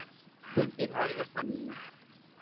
Þingfundir hefjast að nýju